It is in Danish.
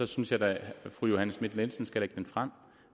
synes jeg da at fru johanne schmidt nielsen skulle lægge den frem